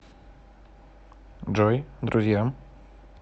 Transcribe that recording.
джой друзья